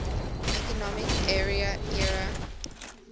economic area eea